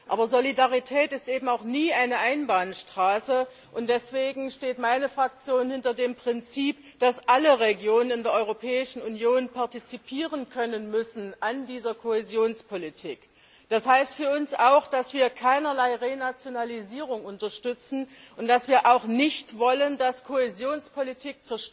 Aber Solidarität ist eben auch nie eine Einbahnstraße, und deswegen steht meine Fraktion hinter dem Prinzip, dass alle Regionen in der Europäischen Union an dieser Kohäsionspolitik partizipieren können müssen. Das heißt für uns auch, dass wir keinerlei Renationalisierung unterstützen und dass wir auch nicht wollen, dass Kohäsionspolitik